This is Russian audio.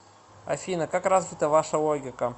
афина как развита ваша логика